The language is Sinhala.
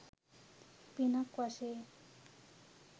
පිනක් වශයෙන්.